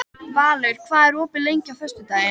Valur, hvað er opið lengi á föstudaginn?